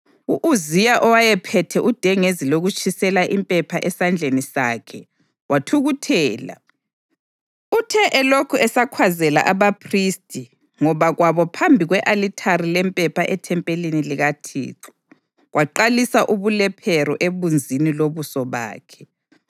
U-Uziya owayephethe udengezi lokutshisela impepha esandleni sakhe, wathukuthela. Uthe elokhu esakhwazela abaphristi ngoba kwabo phambi kwe-alithari lempepha ethempelini likaThixo, kwaqalisa ubulephero ebunzini lobuso bakhe.